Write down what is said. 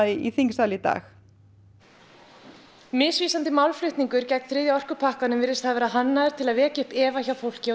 í þingsal í dag misvísandi málflutningur gegn þriðja orkupakkanum virðist hafa verið hannaður til þess að vekja upp efa hjá fólki og